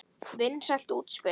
Vinsælt útspil.